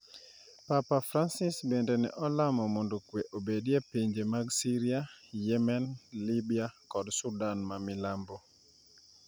Papa Francis bende ne olamo mondo kwe obedi e pinje mag Syria, Yemen, Libya kod Sudan ma Milambo.